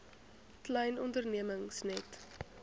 klein ondernemings net